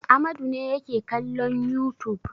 Amadu ne yake kallon youtube.